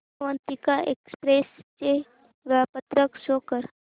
Avantika express चे वेळापत्रक show कर